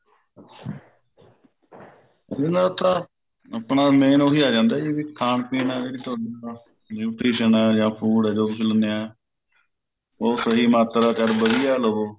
ਇਹ ਨਾ ਆਪਣਾ ਆਪਣਾ main ਉਹੀ ਆ ਜਾਂਦਾ ਖਾਨ ਪੀਣ ਇਲਾਵਾ limitation ਜਾ food ਜੋ ਕੁੱਛ ਲੇਂਦੇ ਹਾਂ ਉਹ ਸਹੀ ਮਾਤਰਾ ਚ ਅਰ ਵਧੀਆਂ ਲਓ